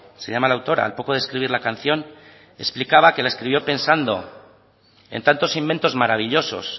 se llama la autora al poco de escribir la canción explicaba que la escribió pensando en tantos inventos maravillosos